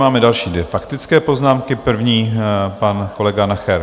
Máme další dvě faktické poznámky, první pan kolega Nacher.